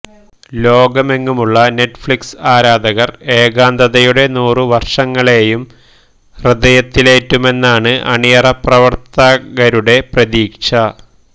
ലോകമെങ്ങുമുള്ള നെറ്റ്ഫ്ളിക്സ് ആരാധകര് ഏകാന്തതയുടെ നൂറ് വര്ഷങ്ങളെയും ഹൃദയത്തിലേറ്റുമെന്നാണ് അണിയറപ്രവര്ത്തകരുടെ പ്രതീക്ഷ